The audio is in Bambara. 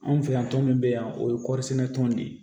Anw fɛ yan tɔn min bɛ yan o ye kɔɔri sɛnɛ tɔn de ye